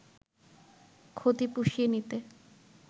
ক্ষতি পুষিয়ে নিতে